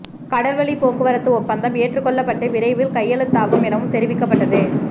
கடல் வழி போக்குவரத்து ஒப்பந்தம் ஏற்று கொள்ளப்பட்டு விரைவில் கையெழுத்தாகும் எனவும் தெரிவிக்கப்பட்டது